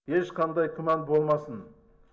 ешқандай күмән болмасын